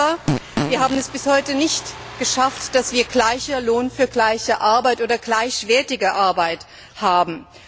Aber wir haben es bis heute nicht geschafft, dass wir gleichen Lohn für gleiche Arbeit oder gleichwertige Arbeit haben.